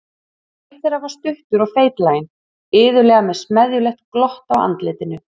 Einn þeirra var stuttur og feitlaginn, iðulega með smeðjulegt glott á andlitinu.